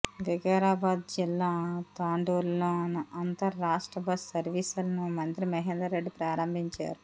వికారాబాద్ జిల్లా తాండూరులో అంతర్ రాష్ట్ర బస్ సర్వీసులను మంత్రి మహేందర్ రెడ్డి ప్రారంభించారు